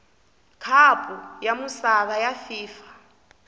khapu ya misava ya fifa